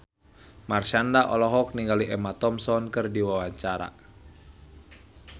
Marshanda olohok ningali Emma Thompson keur diwawancara